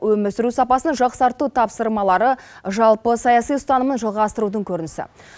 өмір сүру сапасын жақсарту тапсырмалары жалпы саяси ұстанымын жалғастырудың көрінісі